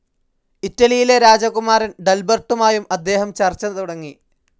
ഇറ്റലിയിലെ രാജകുമാരൻ ഡൽബെർട്ടുമായും അദ്ദേഹം ചർച്ച തുടങ്ങി.